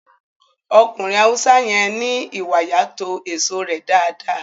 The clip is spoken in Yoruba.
Ọkùnrin Haúsá yẹn ní ìwàyà to èso rẹ dáadáa